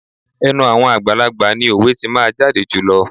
Ẹnu àwọn àgbàlagbà ni òwe tí máa jáde jùlọ.